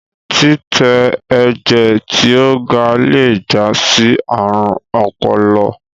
titẹ ẹjẹ ti o ga le já sí àrùn ọpọlọ